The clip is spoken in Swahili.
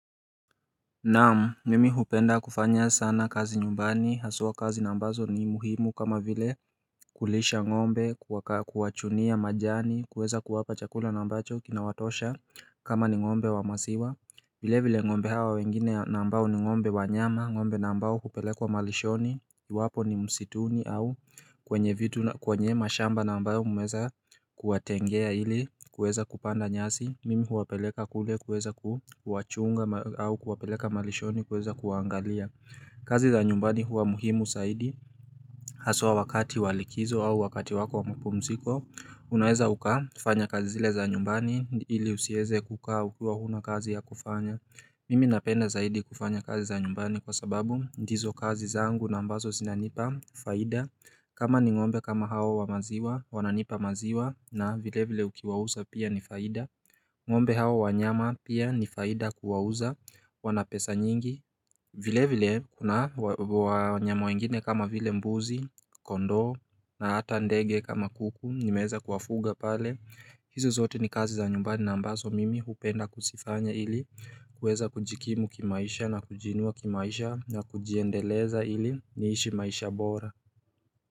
Naamu mimi hupenda kufanya sana kazi nyumbani haswa kazi ambazo ni muhimu kama vile kulisha ng'ombe kuwachunia majani kuweza kuwapa chakula ambacho kina watosha kama ni ng'ombe wa maziwa vile vile ngo'mbe hawa wengine ambao ni ngo'mbe wanyama, ngo'mbe ambao kupelekwa malishoni, iwapo ni msituni au kwenye vitu kwenye mashamba ambayo mumeweza kuatengea ili kuweza kupanda nyasi, mimi huwapeleka kule kuweza kuwachunga au kuwapeleka malishoni kuweza kuangalia. Kazi za nyumbani huwa muhimu zaidi. Haswa wakati wa likizo au wakati wako mpumziko. Unaweza ukafanya kazi zile za nyumbani ili usiweze kukaa ukiwa huna kazi ya kufanya. Mimi napenda zaidi kufanya kazi za nyumbani kwa sababu ndizo kazi zangu na ambazo zinanipa faida. Kama ni ngo'mbe kama hao wa maziwa wananipa maziwa na vile vile ukiwa uza pia ni faida. Ngo'mbe hao wanyama pia ni faida kuwa uza wanapesa nyingi. Vile vile kuna wanyama wengine kama vile mbuzi, kondoo na hata ndege kama kuku nimeweza kuwafuga pale. Hizo zote ni kazi za nyumbani na ambazo mimi hupenda kuzifanya ili kuweza kujikimu kimaisha na kujinua kimaisha na kujiendeleza ili niishi maisha bora.